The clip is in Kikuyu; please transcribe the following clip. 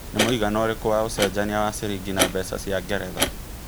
nĩ mũigana ũrĩkũ wa ũcenjanĩa wa cĩrĩngĩ na mbeca cĩa ngeretha